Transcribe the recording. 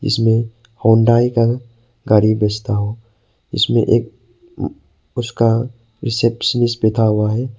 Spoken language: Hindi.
इसमें हुंडई का गाड़ी बेचता हूं इसमें एक उसका रिसेप्शनिस्ट बैठा हुआ है।